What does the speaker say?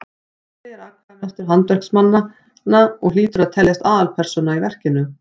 spóli er atkvæðamestur handverksmannanna og hlýtur að teljast aðalpersóna í verkinu